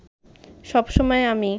সব সময় আমি